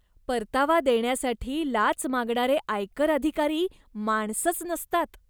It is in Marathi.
परतावा देण्यासाठी लाच मागणारे आयकर अधिकारी माणसंच नसतात.